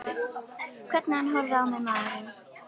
Hvernig hann horfði á mig, maðurinn!